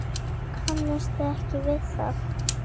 Kannist þið ekki við það?